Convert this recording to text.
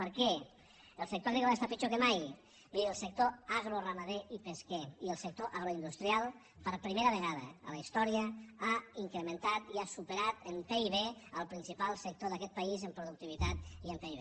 per què el sector agrícola està pitjor que mai vull dir el sector agroramader i pesquer i el sector agroindustrial per primera vegada a la història ha incrementat i ha superat en pib el principal sector d’aquest país en productivitat i en pib